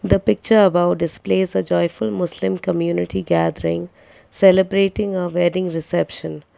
the picture about this place a joyful muslim community gathering celebrating a wedding reception.